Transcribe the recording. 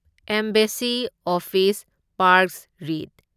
ꯑꯦꯝꯕꯦꯁꯁꯤ office ꯄꯥꯔꯛꯁ ꯔꯤꯢꯠ